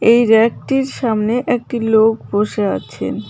এই ব়্যাক -টির সামনে একটি লোক বসে আছেন।